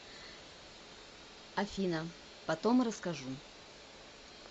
афина потом расскажу